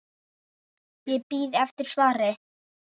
Ég bíð eftir svari.